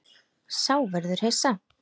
Sá verður hissa.